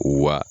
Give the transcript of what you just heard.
Wa